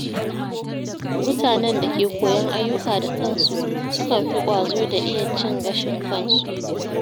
Mutanen da ke koyon ayyuka da kansu sukan fi ƙwazo da iya cin gashin kansu.